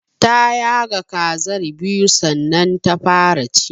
Ta yaga kazar biyu sannan ta fara ci.